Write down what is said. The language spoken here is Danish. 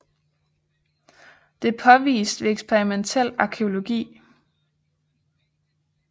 Det er påvist ved eksperimentel arkæologi